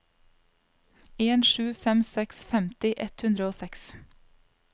en sju fem seks femti ett hundre og seks